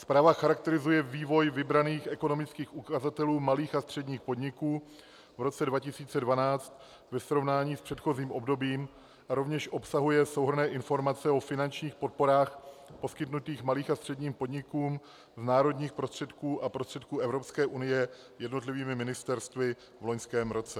Zpráva charakterizuje vývoj vybraných ekonomických ukazatelů malých a středních podniků v roce 2012 ve srovnání s předchozím obdobím a rovněž obsahuje souhrnné informace o finančních podporách poskytnutých malým a středním podnikům z národních prostředků a prostředků Evropské unie jednotlivými ministerstvy v loňském roce.